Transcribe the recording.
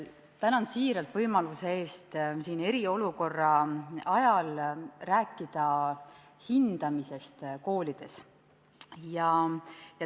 Tänan siiralt võimaluse eest eriolukorra ajal rääkida siin hindamisest koolides!